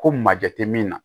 Ko majɛ tɛ min na